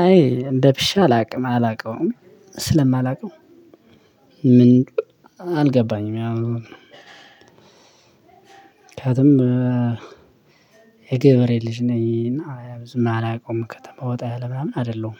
አይ እንደ ብሼ አላቅም አላቀውም ስለማላቀው። ምን? አልገባኝም። ያው ምክንያቱም የገበሬ ልጅ ነኝ እና ብዙ ምን አላቀውም ከተማ ወጣ ያለ ምናምን አይደለሁም።